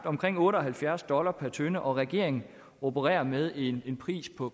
omkring otte og halvfjerds dollar per tønde og regeringen opererer med en pris på